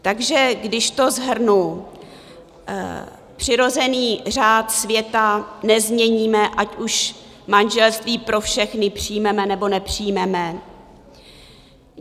Takže když to shrnu: přirozený řád světa nezměníme, ať už manželství pro všechny přijmeme, nebo nepřijmeme.